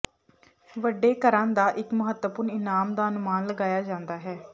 ਵੱਡੇ ਘਰਾਂ ਦਾ ਇੱਕ ਮਹੱਤਵਪੂਰਨ ਇਨਾਮ ਦਾ ਅਨੁਮਾਨ ਲਗਾਇਆ ਜਾਂਦਾ ਹੈ